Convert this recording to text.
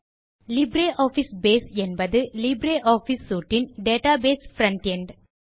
LibreOffice base என்பது LibreOffice suite இன் database frontend